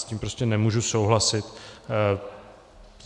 S tím prostě nemůžu souhlasit.